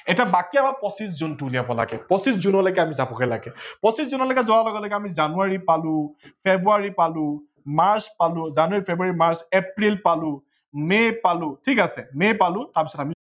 এতিয়া বাকী আমাৰ পচিছ জুনটো উলিয়াব লাগে, পচিছ জুনলৈকে আমি যাবগে লাগে। পচিছ জুনলৈকে যোৱাৰ লগে লগে আমি জানুৱাৰী পালো, ফেব্ৰুৱাৰী পালো, মাৰ্চ পালো ।জানুৱাৰী, ফেব্ৰুৱাৰী, মাৰ্চ, এপ্ৰিল পালো, মে পালো ঠিক আছে, মে পালো তাৰ পাছত আমি